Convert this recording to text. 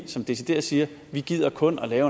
som decideret siger vi gider kun at